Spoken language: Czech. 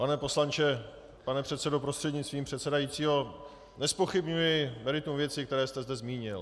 Pane poslanče, pane předsedo, prostřednictvím předsedajícího, nezpochybňuji meritum věcí, které jste zde zmínil.